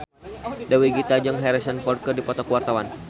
Dewi Gita jeung Harrison Ford keur dipoto ku wartawan